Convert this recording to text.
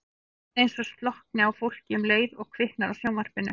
Síðan eins og slokkni á fólki um leið og kviknar á sjónvarpinu.